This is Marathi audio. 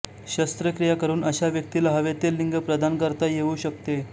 शस्त्रक्रिया करून अशा व्यक्तीला हवे ते लिंग प्रदान करता येऊ शकते